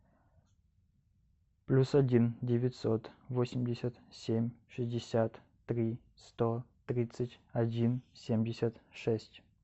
плюс один девятьсот восемьдесят семь шестьдесят три сто тридцать один семьдесят шесть